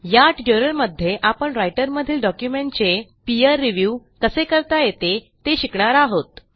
या ट्युटोरियलमध्ये आपण रायटरमधील डॉक्युमेंटचे पीर रिव्ह्यू कसे करता येते ते शिकणार आहोत